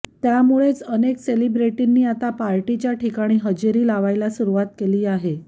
त्यामुळेच अनेक सेलिब्रिटींनी आता पार्टीच्या ठिकाणी हजेरी लावायला सुरुवात केली आहे